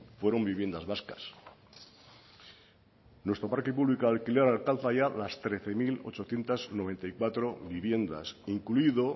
fueron viviendas vascas nuestro parque público de alquiler alcanza ya las trece mil ochocientos noventa y cuatro viviendas incluido